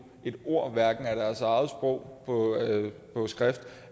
et ord af deres eget sprog på skrift